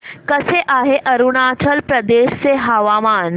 कसे आहे अरुणाचल प्रदेश चे हवामान